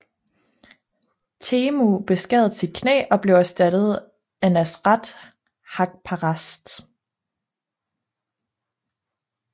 Teemu beskadede sit knæ og blev erstattet af Nasrat Haqparast